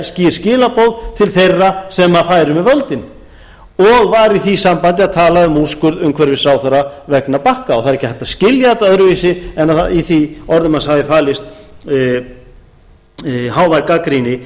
til þeirra sem færu með völdin og var í því sambandi að tala um úrskurð umhverfisráðherra vegna bakka og það er ekki hægt að skilja þetta öðruvísi en í þeim orðum hans hafi falist hávær gagnrýni